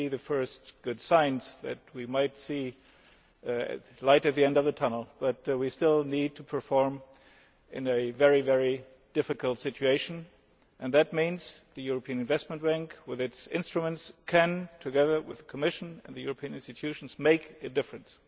We are seeing the first good signs that we might be seeing light at the end of the tunnel, but we still need to perform in a very difficult situation. That means that the European Investment Bank with its instruments can, together with the Commission and the European institutions, make a difference.